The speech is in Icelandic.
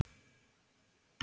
Hverju þakkar þú þetta?